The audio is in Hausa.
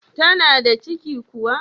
Tana da ciki kuma?